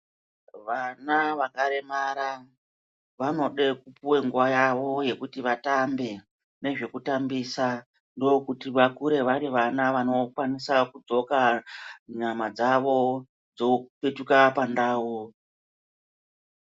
Vana vakaremara vanode kupuwe nguva yavo yekuti vatambe nezvekutambisa. Ndokuti vakure vari vana vanokwanisa kudzoka nyama dzavo dzopetuka pandau.